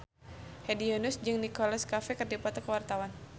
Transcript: Hedi Yunus jeung Nicholas Cafe keur dipoto ku wartawan